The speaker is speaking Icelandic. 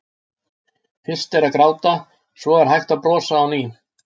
Fyrst er að gráta, svo er hægt að brosa á ný.